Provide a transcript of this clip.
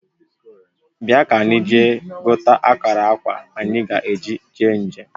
Bia kanyi jee gote akara akwa anyi ga-eji jee njem